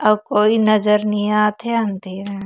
अऊ कोई नज़र नई आथे अंधेरा--